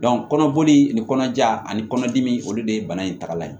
kɔnɔboli nin kɔnɔja ani kɔnɔdimi in o de ye bana in tagalan ye